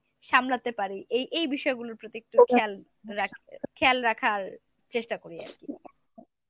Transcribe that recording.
সামলাতে পারি এই এই বিষয়গুলোর প্রতি একটু খেয়াল রাখ~ খেয়াল রাখার চেষ্টা করি আরকি।